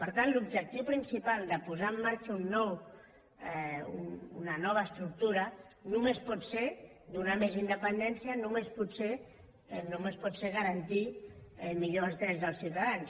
per tant l’objectiu principal de posar en marxa una nova estructura només pot ser donar més independència només pot ser garantir millor els drets dels ciutadans